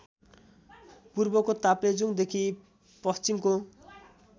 पूर्वको ताप्लेजुङदेखी पश्चिमको